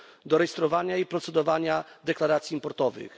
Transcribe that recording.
do rejestrowania i procedowania deklaracji importowych.